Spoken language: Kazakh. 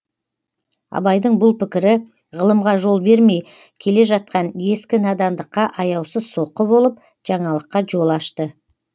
абайдың бұл пікірі ғылымға жол бермей келе жатқан ескі надандыққа аяусыз соққы болып жаңалыққа жол ашты